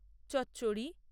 চচ্চড়ি